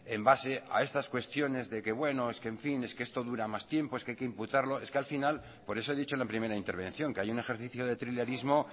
en base a estas cuestiones de que bueno es que en fin es que esto dura más tiempo es que hay que imputarlo es que al final por eso he dicho en la primera intervención que hay un ejercicio de trilerismo